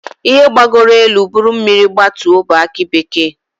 Ihe gbagoro elu buru mmiri gbatuo bụ aki bekee.